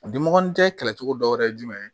A dimɔgɔnin tɛ kɛlɛ cogo dɔ ye jumɛn ye